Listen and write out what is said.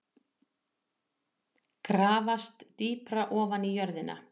Grafast dýpra ofan í jörðina.